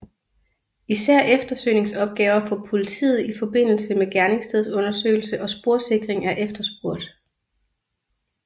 Især eftersøgningsopgaver for politiet ifm gerningsstedsundersøgelse og sporsikring er efterspurgt